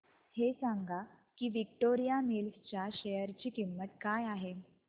हे सांगा की विक्टोरिया मिल्स च्या शेअर ची किंमत काय आहे